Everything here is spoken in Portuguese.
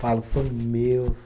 falo são meus.